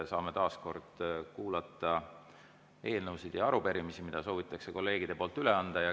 Saame taas kord kuulata eelnõusid ja arupärimisi, mida soovitakse kolleegide poolt üle anda.